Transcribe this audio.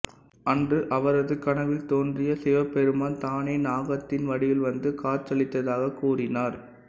அன்று அவரது கனவில் தோன்றிய சிவபெருமான் தானே நாகத்தின் வடிவில்வந்து காட்சியளித்ததாக கூறினார்